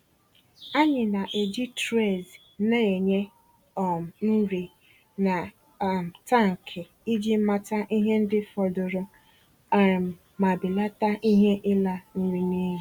Anyị na-eji trays na-enye um nri na um tankị iji mata ihe ndị fọdụrụ um ma belata ihe ịla nri n'iyi.